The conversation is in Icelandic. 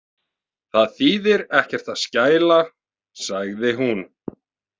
Það þýðir ekkert að skæla, sagði hún.